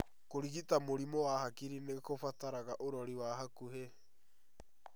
Kũrigita mĩrimũ ya hakiri nĩkũrabatara ũrori wa hakuhĩ